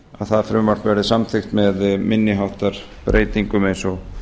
það frumvarp verði samþykkt með minni háttar breytingum eins og